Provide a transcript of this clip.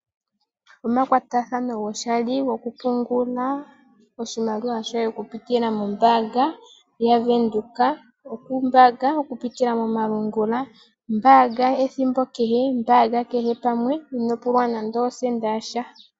Omakwatathano goshali gokupungula oshimaliwa shoye okupitila mombaanga yaVenduka, okumbaanga okupitila momalungula, mbaanga